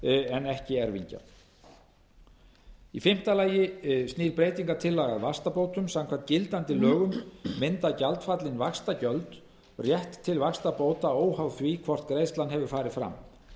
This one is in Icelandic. en ekki erfingja í fimmta lagi snýr breytingartillaga snýr að vaxtabótum samkvæmt gildandi lögum mynda gjaldfallin vaxtagjöld rétt til vaxtabóta óháð því hvort greiðslan hefur farið fram